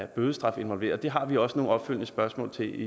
bødestraf involveret det har vi også nogle opfølgende spørgsmål til